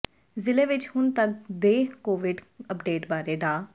ਜਿਲ੍ਹੇ ਵਿੱਚ ਹੁਣ ਤੱਕ ਦੇ ਕੋਵਿਡ ਅੱਪਡੇਟ ਬਾਰੇ ਡਾ